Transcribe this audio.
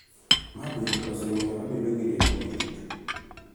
Ma bende osemiyo abedo gi rieko matut .